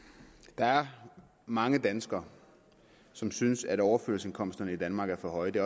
der er mange danskere som synes at overførselsindkomsterne i danmark er for høje det